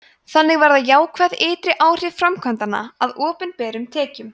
þannig verða jákvæð ytri áhrif framkvæmdanna að opinberum tekjum